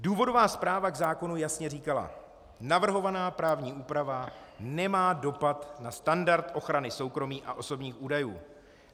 Důvodová zpráva k zákonu jasně říkala: Navrhovaná právní úprava nemá dopad na standard ochrany soukromí a osobních údajů.